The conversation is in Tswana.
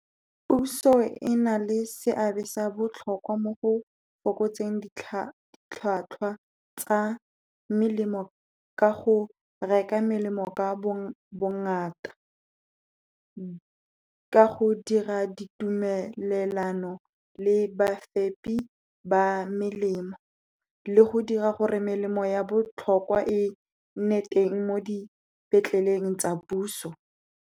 Puso e na le seabe sa botlhokwa mo go fokotseng ditlhwatlhwa tsa melemo, ka go reka melemo ka bo ngata. Ke ka go dira ditumelelano le bafepi ba melemo le go dira gore melemo ya botlhokwa, e nne teng mo dipetleleng tsa puso.